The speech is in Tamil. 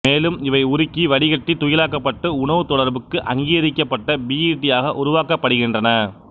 மேலும் இவை உருக்கி வடிகட்டி துகிளாக்கப்பட்டு உணவு தொடர்புக்குஅங்கீகரிக்கப்பட்ட பிஇடி ஆக உருவாக்கப்படுகின்றன